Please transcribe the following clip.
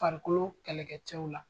Farikolo kɛlɛkɛcɛ la.